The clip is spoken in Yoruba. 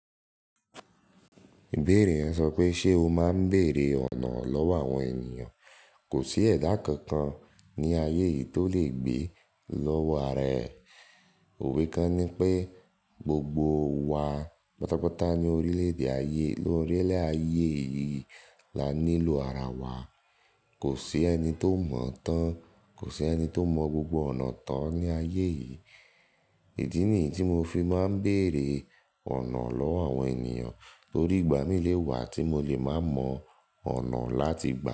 Ìbéèrè rẹ sọ pé ṣe o máa ń bèèrè ọ̀nà ọ̀lọ́wọ́ àwọn ènìyàn. Kò sí ẹ̀dá kankan ní ayé yìí tó lè gbé lọ́wọ́ ara ẹ̀. O Òwe kan ní pé gbogbo wa pátápátá ní orílẹ̀-èdè ayé, lórílẹ̀ ayé yìí la nílò ara wa. Kò sí ẹni tó mọ̀ tán, kò sí ẹni tó mọ gbogbo ọ̀nà tán ní ayé yìí. Ee Idi nìyí tí mo fi máa ń bèèrè ọ̀nà lọ́wọ́ àwọn ènìyàn torí ìgbà mí lé wa tí mo lè máa mọ ọ̀nà láti gbà.